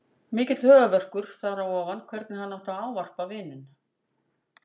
Mikill höfuðverkur þar á ofan hvernig hann átti að ávarpa vininn.